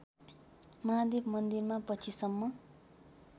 महादेव मन्दिरमा पछिसम्म